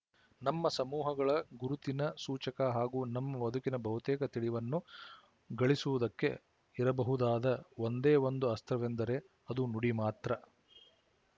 ನಮ್ಮ ಸಮೂಹಗಳ ಗುರುತಿನ ಸೂಚಕ ಹಾಗೂ ನಮ್ಮ ಬದುಕಿನ ಬಹುತೇಕ ತಿಳಿವನ್ನು ಗಳಿಸುವುದಕ್ಕೆ ಇರಬಹುದಾದ ಒಂದೇ ಒಂದು ಅಸ್ತ್ರವೆಂದರೆ ಅದು ನುಡಿ ಮಾತ್ರ